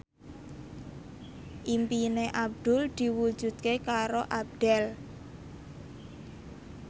impine Abdul diwujudke karo Abdel